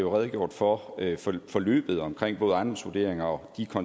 redegjort for forløbet omkring både ejendomsvurderingerne og de